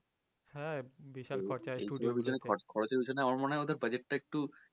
হ্যা বিশাল খরচা